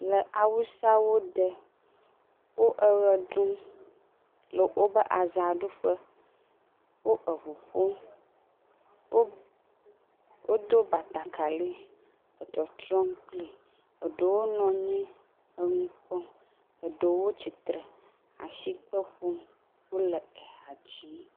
Le awusawo de wo ɣeɖum le wobe azaɖuƒe woʋuƒom wodo batakali le trɔtrɔm kpli ɖewo nɔ anyi nu kpɔm ɖewo titre asikpe ƒom wole hadzim